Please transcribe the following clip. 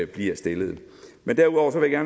bliver stillet men derudover vil jeg